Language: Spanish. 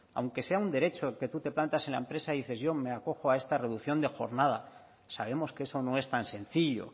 aunque sea un derecho que tú te plantas en la empresa y dices yo me acojo a esta reducción de jornada sabemos que eso no es tan sencillo